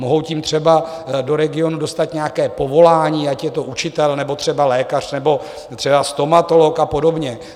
Mohou tím třeba do regionu dostat nějaké povolání, ať je to učitel nebo třeba lékař nebo třeba stomatolog a podobně.